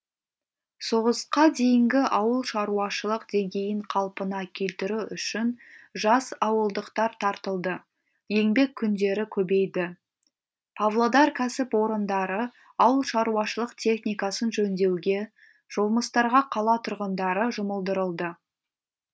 соғысқа дейінгі ауылшаруашылық деңгейін қалпына келтіру үшін жас ауылдықтар тартылды еңбек күндері көбейді павлодар кәсіпорындары ауылшаруашылық техникасын жөндеуге жұмыстарға қала тұрғындары жұмылдырылды